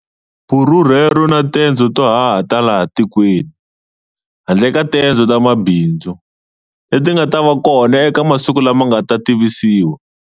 Vurhurhelo na tendzo to haha ta laha tikweni, handle ka tendzo ta mabindzu, leti ti nga ta va kona eka masiku lama nga ta tivisiwa.